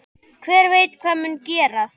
Hver veit hvað mun gerast?